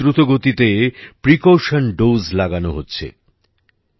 দেশে খুব দ্রুত গতিতে প্রিকাউশন দোসে লাগানো হচ্ছে